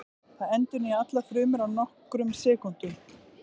Það endurnýjar allar frumur á nokkrum sekúndum.